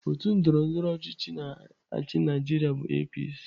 Otu ndọrọndọrọ ọchịchị na-achị Naịjirịa bụ APC.